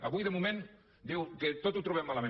avui de moment diu que tot ho trobem malament